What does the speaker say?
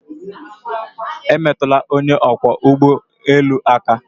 Emetụla onye ọkwọ ụgbọ elu aka!